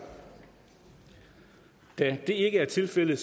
da det ikke er tilfældet